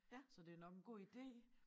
Så det er nok en god ide